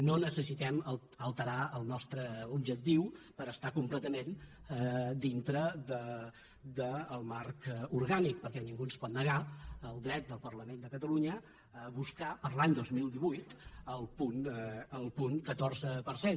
no necessitem alterar el nostre objectiu per estar completament dintre del marc orgànic perquè ningú ens pot negar el dret del parlament de catalunya a buscar per a l’any dos mil divuit el punt catorze per cent